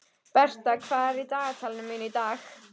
Bertha, hvað er í dagatalinu mínu í dag?